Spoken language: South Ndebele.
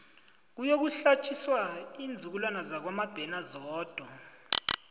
kuyokuhlatjiswa iinzukulwana zakwamabena zodwa